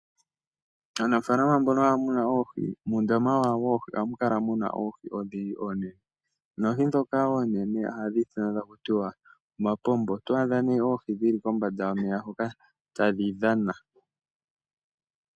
Aanafalama mboka haya munu oohi, muundama wawo ohamu kala muna oohi odhindji onene noohi dhoka oonene ohadhi ithanwa taku tiwa omapombo oto adha ne oohi dhili kombanda yomeya hoka tadhi dhana.